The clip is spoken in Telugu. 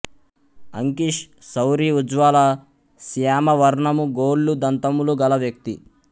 అంకీష్ సౌరి ఉజ్వల శ్యామవర్ణము గోళ్లు దంతములు గల వ్యక్తి